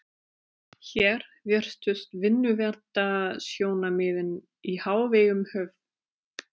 Hér virtust vinnuverndarsjónarmiðin í hávegum höfð.